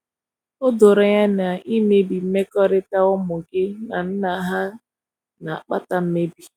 o doro anya na imebi mmekọrita ụmụ gi na nna ha na akpata mmebi